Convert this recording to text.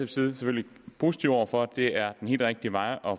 selvfølgelig positive over for det er den helt rigtige vej at